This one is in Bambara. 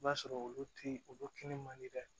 I b'a sɔrɔ olu ti olu kinni man di dɛ